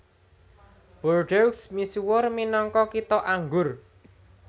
Bordeaux misuwur minangka Kitha Anggur